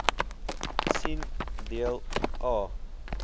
sien deel a